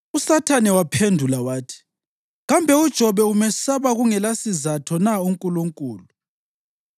USathane waphendula wathi, “Kambe uJobe umesaba kungelasizatho na uNkulunkulu?